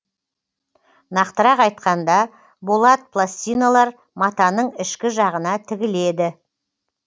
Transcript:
нақтырақ айтқанда болат пластиналар матаның ішкі жағына тігіледі